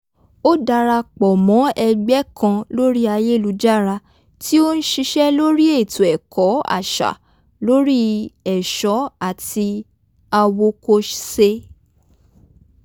o darapọ̀ mọ́ e̩gbé̩ kan lórí ayelujara ti o ń s̩is̩é̩ lori eto-ẹkọ aṣa lórí è̩s̩ó̩ ati awokose